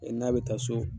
N'a bɛ taa so